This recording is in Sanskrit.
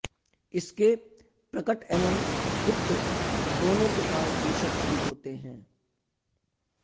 इसके प्रकट एवं गुप्त दोनों प्रकार के शत्रु होते हैं